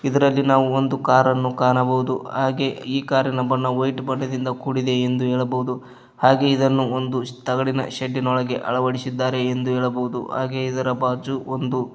ಇದ್ರಲ್ಲಿ ನಾವು ಒಂದು ಕಾರನ್ನು ಕಾಣಬೋದು ಹಾಗೆ ಈ ಕಾರಿನ ಬಣ್ಣ ವೈಟ್ ಬಣ್ಣದಿಂದ ಕೂಡಿದೆ ಎಂದು ಹೇಳಬೋದು ಹಾಗೆ ಇದನ್ನು ಒಂದು ತಗಡಿನ ಶೆಡ್ಡಿನ ಒಳಗಡೆ ಅಳವಡಿಸಿದ್ದಾರೆ ಎಂದು ಹೇಳಬೋದು ಅದರ ಬಾಜು ಒಂದು --